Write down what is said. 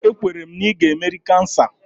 Ee, ekwere m na ị ga-emeri kansa